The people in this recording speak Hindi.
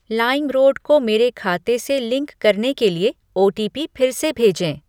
लाइमरोड को मेरे खाते से लिंक करने के लिए ओटीपी फिर से भेजें ।